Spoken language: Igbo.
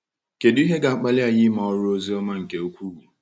Kedu ihe ga-akpali anyị ime ọrụ ozi ọma nke ukwuu?